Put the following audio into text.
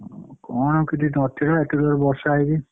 କଣ ଆଉ ଏତେ ଜୋରେ ବର୍ଷା ହେଇକି।